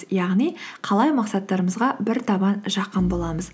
яғни қалай мақсаттарымызға бір табан жақын боламыз